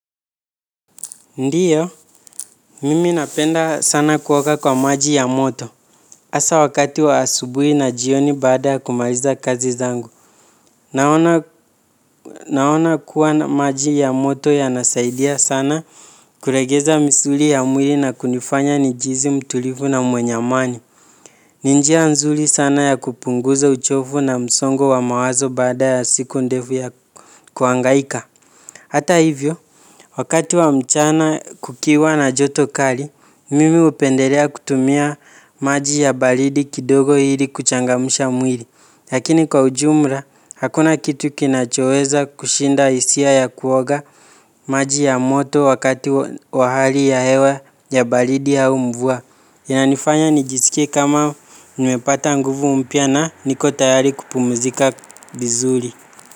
Ndiyo, mimi napenda sana kuoga kwa maji ya moto. Asa wakati wa asubui na jioni baada kumaliza kazi zangu. Naona kuwa maji ya moto yanasaidia sana kulegeza misuli ya mwili na kunifanya njihizi mtulivu na mwenye amani. Ni njia nzuri sana ya kupunguza uchovu na msongo wa mawazo baada ya siku ndevu ya kuangaika. Hata hivyo, wakati wa mchana kukiwa na joto kari, mimi upendelea kutumia maji ya balidi kidogo ili kuchangamsha mwili. Lakini kwa ujumra, hakuna kitu kinachoweza kushinda isia ya kuoga maji ya moto wakati wa hali ya hewa ya balidi au mvua. Inanifanya nijisikie kama nimepata nguvu mpya na niko tayari kupumuzika vizuri.